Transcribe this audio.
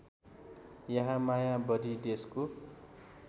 यहाँ माया बढी देशको